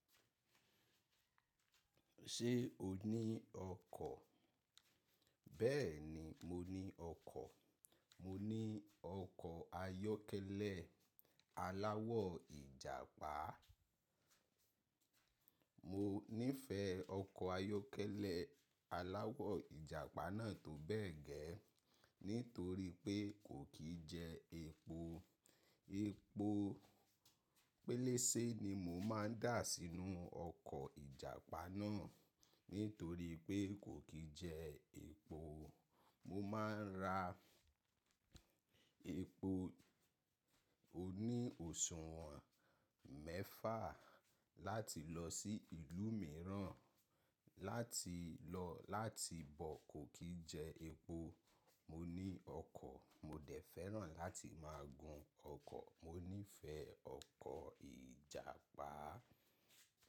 Ṣé o ní ọkọ̀? Bẹ́ẹ̀ni, mo ní ọkọ̀. Mo ní ọkọ̀ ayọ́kẹ́lẹ́ aláwọ̀ Ìjàpá. Mo nífẹ̀ẹ́ ọkọ̀ ayọ́kẹ́lẹ́ aláwọ̀ Ìjàpá náà tó bẹ́ẹ̀ gẹ́, nítorí pé kò kí jẹ epo. Epo péléẹ́ṣẹ́ ni mo máa ń dà sínú ọkọ̀ ìjàpá náà, nítorí pé kò kí jẹ epo. Mo máa ń ra epo oní òṣùwọ̀n mẹ́fà láti lọ sí ìlú mìíràn láti lọ láti bọ̀ kò kí jẹ epo. Mo ní ọkọ̀, mo dẹ̀ fẹ́ràn láti máa gun ọkọ̀. Mo nífẹ̀ẹ́ ọkọ̀ ìjàpá.